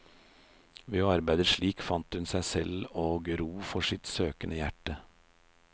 Ved å arbeide slik fant hun seg selv og ro for sitt søkende hjerte.